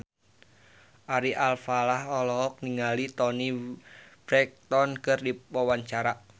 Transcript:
Ari Alfalah olohok ningali Toni Brexton keur diwawancara